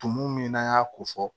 Tumu min n'an y'a ko fɔ